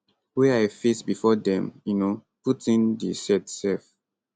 wey i face bifor dem um put in di set sef